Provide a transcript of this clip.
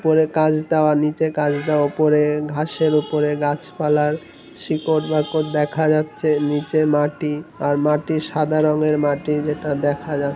উপরে কাঁচ দেওয়া নিচে কাঁচ দেওয়া উপরে-এ ঘাসের উপরে গাছ পালার শিকড় বাকর দেখা যাচ্ছে নিচে মাটি আর মাটি সাদা রঙের মাটি যেটা দেখা যা--